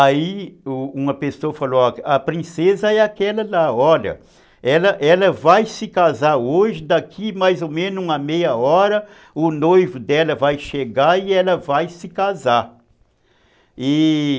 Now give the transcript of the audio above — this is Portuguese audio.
Aí uma pessoa falou, a princesa é aquela lá, olha, ela ela vai se casar hoje, daqui mais ou menos uma meia hora o noivo dela vai chegar e ela vai se casar, e...